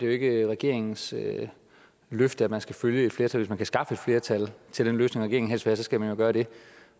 jo ikke regeringens løfte at man skal følge et flertal og hvis man kan skaffe et flertal til den løsning regeringen helst vil have skal man jo gøre det